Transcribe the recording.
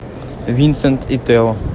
винсент и тео